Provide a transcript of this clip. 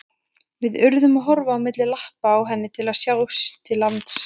Við urðum að horfa á milli lappa á henni til að sjá til lands.